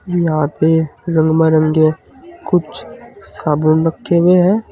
यहां पे रंग मरंगे कुछ साबुन रखे हुए हैं।